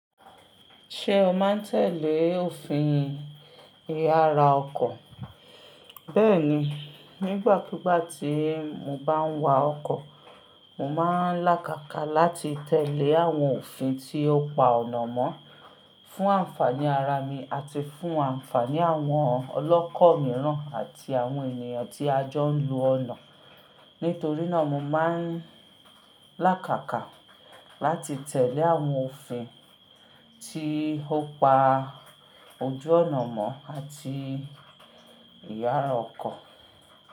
Ṣé o máa ń tẹ̀lé òfin ìyára ọkọ̀? Bẹ́ẹ̀ni, nígbàkúgbà tí mo bá ń wa ọkọ̀, mo máa ń làkàkà láti tẹ̀lé àwọn òfin tí ó pa ọ̀nà mọ́, fún ànfàní ara mi àti fún ànfàní àwọn ọlọ́kọ̀ mìíràn àti àwọn ènìyàn tí a jọ ń lo ọ̀nà. Nítorí náà mo máa ń làkàkà láti tẹ̀lé àwọn òfin tí ó pa ojú ọ̀nà mọ́ àti ìyára ọkọ̀.